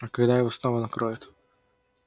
а когда его снова накроет